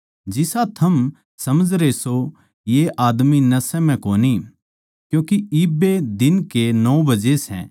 जिसा थम समझरे सो ये आदमी नशै म्ह कोनी क्यूँके इब्बे दिन के नौ बजे सै